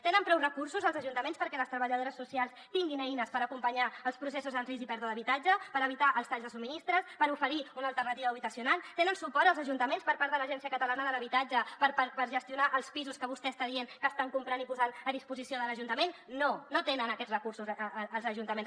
tenen prou recursos els ajuntaments perquè les treballadores socials tinguin eines per acompanyar els processos en risc i pèrdua d’habitatge per evitar els talls de subministres per oferir una alternativa habitacional tenen suport els ajuntaments per part de l’agència catalana de l’habitatge per gestionar els pisos que vostè està dient que estan comprant i posant a disposició de l’ajuntament no no tenen aquests recursos els ajuntaments